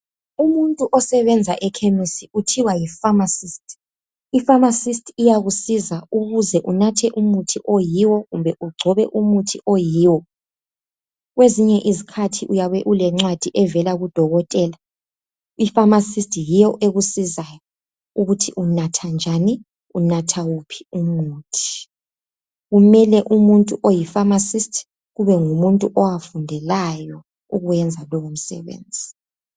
Umuntu osebenza ekhemisi kuthiwa yifamasisti, ifamasisti iyakusiza ukuze unathe umuthi oyiwo kumbe ugcobe umuthi oyiwo, kwezinye isikhathi uyabe ulencwadi evela kudokotela ifamasisti yiyo ekusizayo ukuthi unatha njani, unatha wuphi umuthi, kumele umuntu oyi famasisti kube ngumuntu owawufundelayo lowomsebenzi.